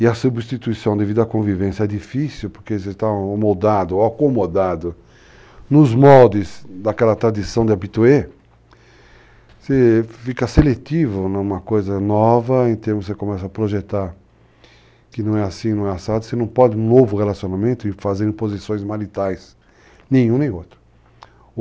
e a substituição devido à convivência é difícil porque você está moldado ou acomodado nos moldes daquela tradição de habitué, você fica seletivo numa coisa nova, em termos que você começa a projetar que não é assim, não é assado, você não pode um novo relacionamento e fazer posições maritais, nenhum nem outro.